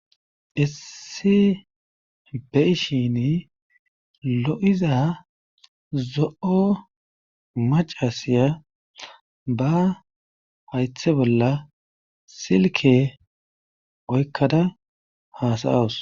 issi be7ishin lo7iza zo7o macasiya ba haythe bolla silke oykkada hasayawus